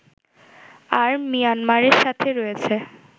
আর মিয়ানমারের সাথে রয়েছে